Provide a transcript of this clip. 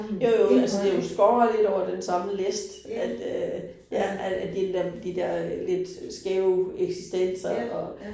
Jo jo, altså det jo skåret lidt over den samme list, at øh ja, at at de da de der lidt skæve eksistenser og